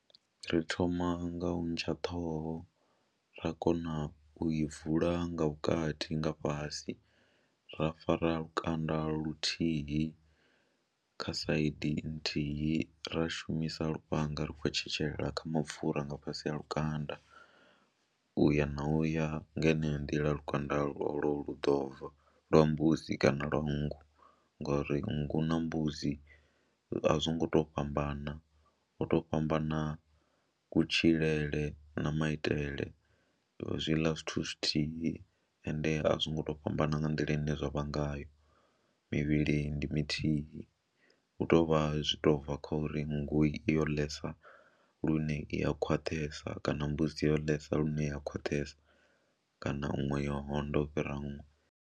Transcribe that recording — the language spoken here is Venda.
Ri thoma nga u ntsha ṱhoho ra kona u i vula nga vhukati nga fhasi, ra fara lukanda luthihi kha side nthihi, ra shumisa lufhanga ri khou tshetshelela kha mapfhura nga fhasi ha lukanda u ya na u ya nga heneyo nḓila lukanda lwolwo lu ḓo bva lwa mbudzi kana lwa nngu ngori nngu na mbudzi a zwi ngo tou fhambana, ho tou fhambana kutshilele na maitele zwi ḽa zwithu zwithihi ende a zwi ngo to fhambana nga nḓila ine zwa vha ngayo mivhilini ndi mithihi, hu tou vha zwi tou bva kha uri nngu yo ḽesa lune i ya khwaṱhesa kana mbudzi yo ḽesa lune ya khwaṱhesa kana iṅwe yo onda u fhira iṅwe.